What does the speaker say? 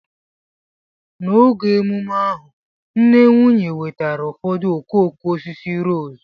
N'oge emume ahu, nne nwunye wetara ụfọdụ okooko osisi rose